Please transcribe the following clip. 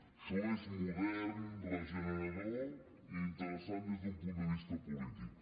això és modern regenerador i interessant des d’un punt de vista polític